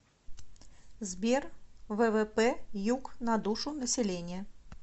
сбер ввп юк на душу населения